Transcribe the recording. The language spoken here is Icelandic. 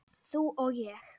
Þú og ég.